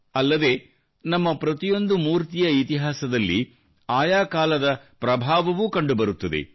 ಅಲ್ಲದೆ ನಮ್ಮ ಪ್ರತಿಯೊಂದು ಮೂರ್ತಿಯ ಇತಿಹಾಸದಲ್ಲಿ ಆಯಾ ಕಾಲದ ಪ್ರಭಾವವೂ ಕಂಡುಬರುತ್ತದೆ